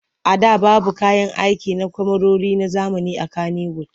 A da babu kayan aiki na kyamarori na zamani a Kanniwud.